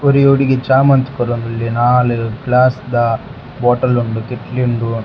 ಒರಿ ಹುಡುಗೆ ಚಾ ಮಂತ್ ಕೊರೊಂದುಲ್ಲೆ ನಾಲ್ ಗ್ಲಾಸ್ ದ ಬೋಟಲ್ ಉಂಡು ಕಿಟ್ಕಿ ಉಂಡು.